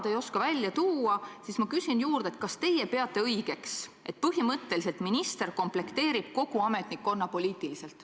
Kui te seda välja tuua ei oska, siis ma küsin juurde, kas teie peate õigeks, et minister põhimõtteliselt komplekteerib kogu ametnikkonna poliitiliselt.